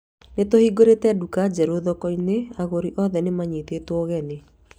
Nĩ tũhingũrĩte nduka njerũ thoko-inĩ agũri othe nĩ manyitĩtwo ũgeni